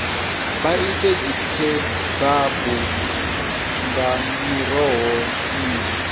vha ite dzikhebabu nga miroho minzhi